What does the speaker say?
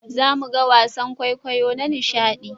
Za mu ga wasan kwaikwayo na nishaɗi